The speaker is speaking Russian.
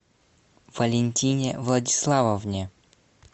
валентине владиславовне